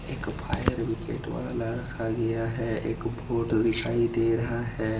एक fire bucket वाला रखा गया है। एक वोट दिखाई दे रहा है।